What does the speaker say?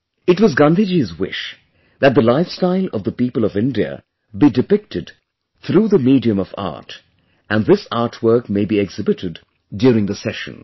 It was Gandhiji's wish that the lifestyle of the people of India be depicted through the medium of art and this artwork may be exhibited during the session